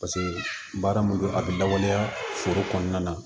Paseke baara mun don a bi lawaleya foro kɔnɔna na